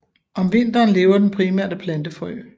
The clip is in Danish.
Om vinteren lever den primært af plantefrø